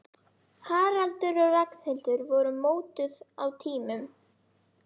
Haraldur og Ragnhildur voru mótuð á tímum